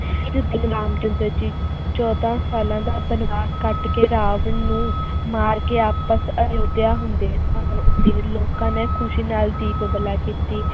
ਇਸ ਦਿਨ ਰਾਮ ਚੰਦਰ ਜੀ ਚੌਦਾਂ ਸਾਲਾਂ ਦਾ ਬਨਵਾਸ ਕੱਟ ਕੇ ਰਾਵਣ ਨੂੰ ਮਾਰ ਕੇ ਵਾਪਸ ਅਯੋਧਿਆ ਹੁੰਦੇ ਤੇ ਲੋਕਾਂ ਨੇ ਖ਼ਸ਼ੀ ਨਾਲ ਦੀਪਮਾਲਾ ਕੀਤੀ l